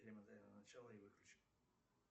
перемотай на начало и выключи